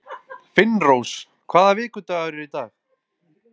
Finnrós, hvaða vikudagur er í dag?